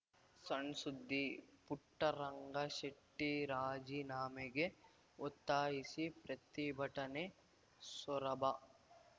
ಸಣ್‌ಸುದ್ದಿ ಪುಟ್ಟರಂಗಶೆಟ್ಟಿರಾಜಿನಾಮೆಗೆ ಒತ್ತಾಯಿಸಿ ಪ್ರತಿಭಟನೆ ಸೊರಬ